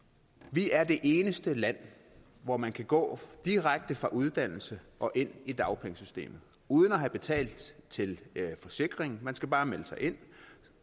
vi er det eneste land hvor man kan gå direkte fra uddannelse og ind i dagpengesystemet uden at have betalt til forsikring man skal bare melde sig ind